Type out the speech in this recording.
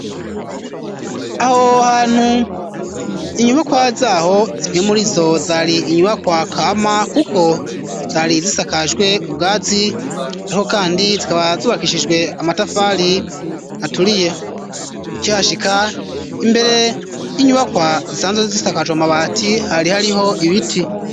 Aho hantu inyubakwa zaho zimwe murizo zari inyubakwa kama kuko zari zisakajwe ubwazi ariko kandi zikaba zubakishijwe amatafari aturiye ukihashika imbere y'inyubakwa zisanzwe zisakajwe amabati hari hariho ibiti.